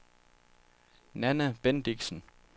Nanna Bendixen